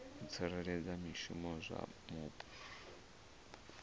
u tsireledza zwishumiswa zwa mupo